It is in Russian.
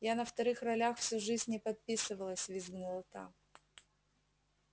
я на вторых ролях всю жизнь не подписывалась визгнула та